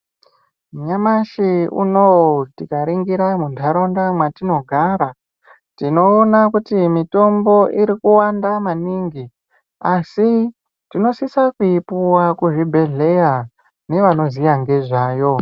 Nyamashi unowu tikaringira muntaraunda mwatinogara tinoona kuti mitombo irikuwanda maningi asi tinosisa kuipuwa kuzvibhedhleya nevanoziya ngezvayo.